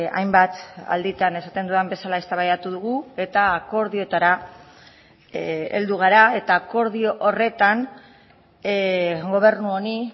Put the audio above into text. hainbat alditan esaten dudan bezala eztabaidatu dugu eta akordioetara heldu gara eta akordio horretan gobernu honi